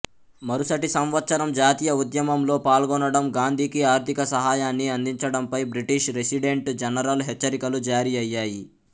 మరుసటి సంవత్సరం జాతీయ ఉద్యమంలో పాల్గొనడం గాంధీకి ఆర్థిక సహాయాన్ని అందించడంపై బ్రిటిష్ రెసిడెంట్ జనరల్ హెచ్చరికలు జారీఅయ్యాయి